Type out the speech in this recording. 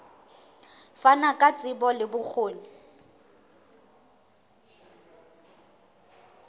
fana ka tsebo le bokgoni